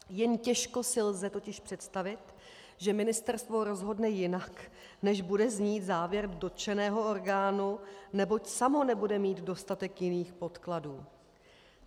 Jen těžko si lze totiž představit, že ministerstvo rozhodne jinak, než bude znít závěr dotčeného orgánu, neboť samo nebude mít dostatek jiných podkladů.